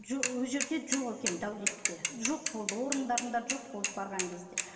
жоқ ол жерде жоқ екен дәулетте жоқ болды орындарында жоқ болды барған кезде